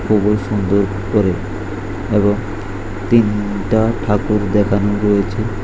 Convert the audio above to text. খুবোই সুন্দর করে এবং তিনটা ঠাকুর দেকানো রয়েছে।